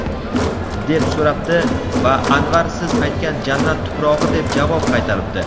deb so‘rabdi va Anvar siz aytgan jannat tuprog‘i deb javob qaytaribdi.